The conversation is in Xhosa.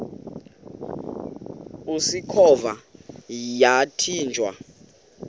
usikhova yathinjw a